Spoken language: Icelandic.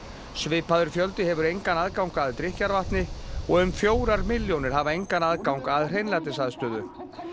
svipaður fjöldi hefur engan aðgang að drykkjarvatni og um fjórar milljónir hafa engan aðgang að hreinlætisaðstöðu